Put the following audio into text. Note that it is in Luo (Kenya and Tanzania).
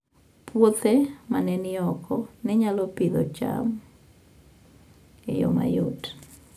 Puothe ma ne ni oko ne nyalo Pidhoo cham e yo mayot